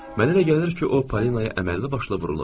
Mənə elə gəlir ki, o Polinaya əməlli başlı vurulub.